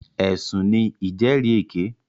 Ẹ̀sùn ní ìjẹ́rìèké.